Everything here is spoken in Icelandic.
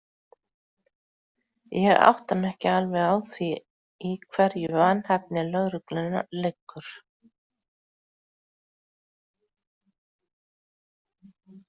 Ég átta mig ekki alveg á því í hverju vanhæfni lögreglunnar liggur.